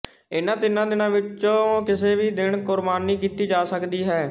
ਇਨ੍ਹਾਂ ਤਿੰਨਾਂ ਦਿਨਾਂ ਵਿੱਚੋਂ ਕਿਸੇ ਵੀ ਦਿਨ ਕੁਰਬਾਨੀ ਕੀਤੀ ਜਾ ਸਕਦੀ ਹੈ